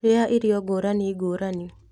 Rĩa irio ngũrani ngũrani.